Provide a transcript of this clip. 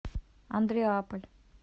андреаполь